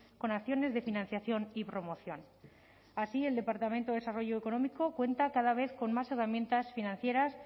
con acciones de financiación y promoción así el departamento de desarrollo económico cuenta cada vez con más herramientas financieras